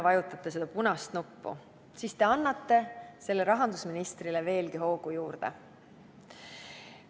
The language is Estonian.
Kui te täna seda punast nuppu vajutate, siis annate rahandusministrile veelgi hoogu juurde.